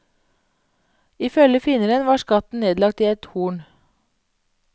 I følge finneren var skatten nedlagt i et horn.